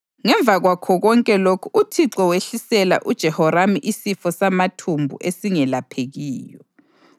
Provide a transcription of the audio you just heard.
Ngemva kwakho konke lokhu uThixo wehlisela uJehoramu isifo samathumbu esingelaphekiyo.